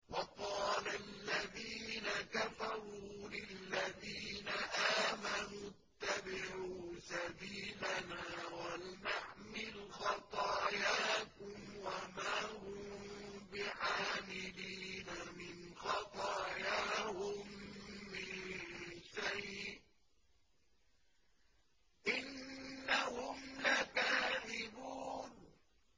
وَقَالَ الَّذِينَ كَفَرُوا لِلَّذِينَ آمَنُوا اتَّبِعُوا سَبِيلَنَا وَلْنَحْمِلْ خَطَايَاكُمْ وَمَا هُم بِحَامِلِينَ مِنْ خَطَايَاهُم مِّن شَيْءٍ ۖ إِنَّهُمْ لَكَاذِبُونَ